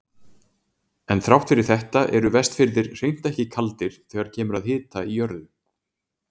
En þrátt fyrir þetta eru Vestfirðir hreint ekki kaldir þegar kemur að hita í jörðu.